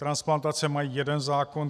Transplantace mají jeden zákon.